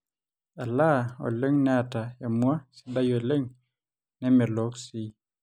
elaa oleng neeta emua sidai oleng nemelook sii